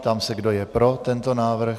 Ptám se, kdo je pro tento návrh.